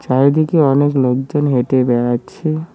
চারিদিকে অনেক লোকজন হেঁটে বেড়াচ্ছে।